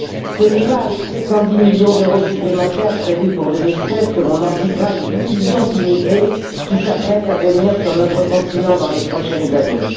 Ce n'est pas avec 710 millions d'euros supplémentaires prévus pour 2016 que l'on endiguera les millions d'immigrés qui s'apprêtent à venir sur notre continent dans les prochaines années.